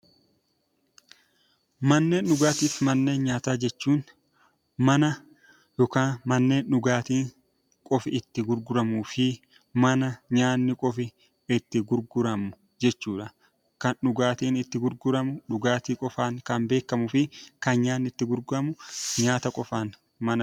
Manneen dhugaatii fi manneen nyaataa jechuun mana dhugaatii qofi itti gurguramuu fi mana nyaanni qofi itti gurguramu jechuudha. Kan dhugaatiin itti gurguramu dhugaatii qofaan kan beekamuu fi kan nyaanni itti gurguramu nyaanni qofaan kan beekamudha.